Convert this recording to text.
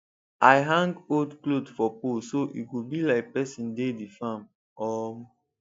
i hang old cloth for pole so e go be like person dey the farm um